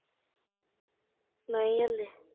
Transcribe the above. ਨਹੀਂ ਹਲੇ